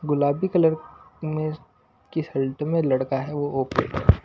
गुलाबी कलर में कि शल्ट में लड़का है वो ओके --